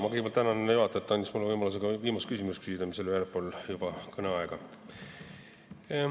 Ma kõigepealt tänan juhatajat, et ta andis mulle võimaluse ka veel viimase küsimuse küsida, mis oli juba väljaspool ettenähtud aega.